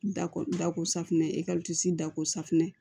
Da ko da ko safinɛ ɛ ɛkisi dako safinɛ